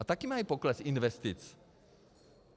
A taky mají pokles investic.